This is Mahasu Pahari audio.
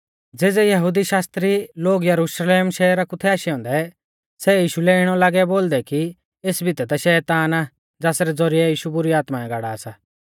ज़ेज़ै यहुदी शास्त्री लोग यरुशलेम शहरा कु थै आशै औन्दै सै यीशु लै इणौ लागै बोलदै कि एस भितै ता शैतान आ ज़ासरै ज़ौरिऐ यीशु बुरी आत्माऐं गाड़ा सा